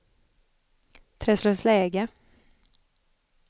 Träslövsläge